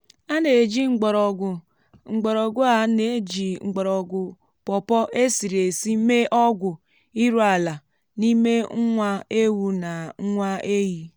a na-eji mgbọrọgwụ a na-eji mgbọrọgwụ pọpọ́ esiri esi mee ọgwụ iru ala n’ime nwa ewu na nwa ehi.